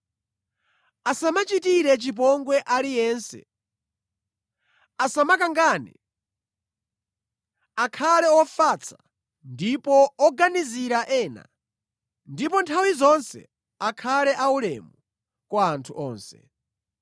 Asamachitire chipongwe aliyense, asamakangane, akhale ofatsa ndipo oganizira ena, ndipo nthawi zonse akhale aulemu kwa anthu onse.